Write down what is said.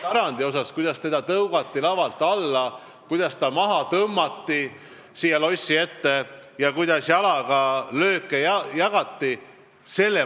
Ma mõistan üheselt hukka selle, kuidas ta tõugati lavalt alla, kuidas ta tõmmati siia lossi ette maha ja kuidas talle jalaga lööke jagati.